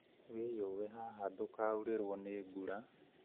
Wĩyũwe haha ndũkaurĩrũo nĩ mbura